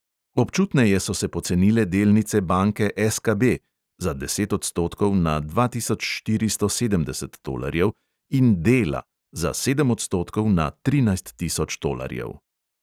Občutneje so se pocenile delnice banke SKB (za deset odstotkov na dva tisoč štiristo sedemdeset tolarjev) in dela (za sedem odstotkov na trinajst tisoč tolarjev).